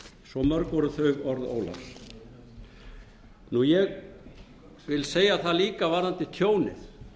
svo mörg voru þau orð ólafs ég vil segja það líka varðandi tjónið